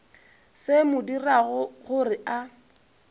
se mo dirago gore a